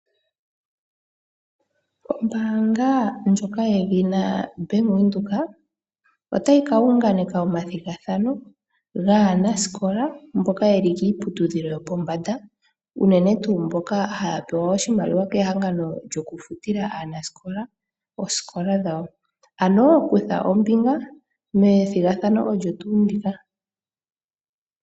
Ombaanga ndjoka yedhina ombaanga yaWindhoek otayi ka unganeka omathigathano gaanasikola mboka yeli kiiputudhilo yopombanda uunene tuu mboka haya pewa oshimaliwa kehangano lyokufutila aanasikola oosikola dhawo. Ano kutha ombinga methigathano olyo tuu ndika.